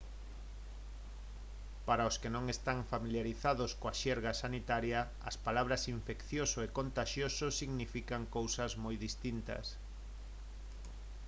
para os que non están familiarizados coa xerga sanitaria as palabras infeccioso e contaxioso significan cousas moi distintas